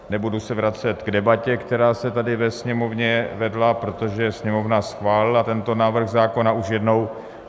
Nebudu se vracet k debatě, která se tady ve Sněmovně vedla, protože Sněmovna schválila tento návrh zákona už jednou.